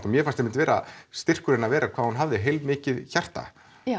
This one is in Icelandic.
mér fannst einmitt vera styrkur hennar hvað hún hafði heilmikið hjarta